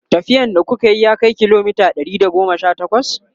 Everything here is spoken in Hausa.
tafiyan da kukayi ya Kai kilomita Ɗari da goma Sha takwas?